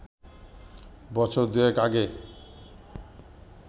বছর দুয়েক আগে